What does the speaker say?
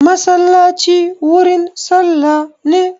Masallaci wurin sallah ne